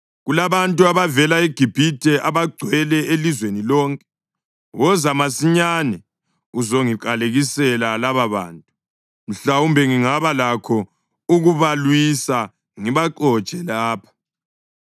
‘Kulabantu abavele eGibhithe abagcwele elizweni lonke. Woza masinyane uzongiqalekisela lababantu. Mhlawumbe ngingaba lakho ukubalwisa ngibaxotshe lapha.’ ”